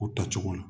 U tacogo la